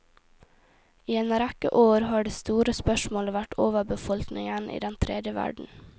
I en rekke år har det store spørsmålet vært overbefolkningen i den tredje verden.